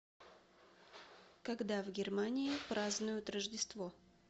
когда в германии празднуют рождество